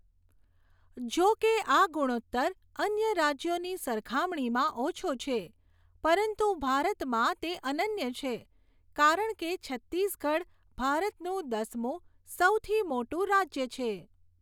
જોકે આ ગુણોત્તર અન્ય રાજ્યોની સરખામણીમાં ઓછો છે, પરંતુ ભારતમાં તે અનન્ય છે કારણ કે છત્તીસગઢ ભારતનું દસમું સૌથી મોટું રાજ્ય છે.